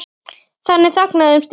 Hann þagnaði um stund.